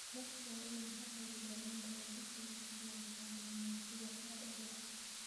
Dadku waa inay ka qaybgalaan tababar ku saabsan kalluumaysiga sharciga ah.